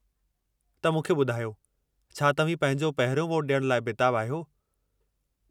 त मूंखे ॿुधायो, छा तव्हीं पंहिंजो पहिरियों वोटु ॾियण लाइ बेताबु आहियो?